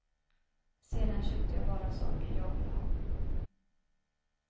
Sedan köpte jag bara saker jag ville ha.